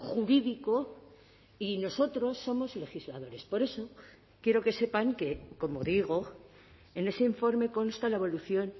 jurídico y nosotros somos legisladores por eso quiero que sepan que como digo en ese informe consta la evolución